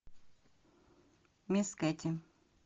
мисс кэти